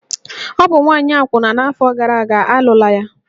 Ọ bụ nwaanyị akwụna n'afọ gara aga, a lụla ya!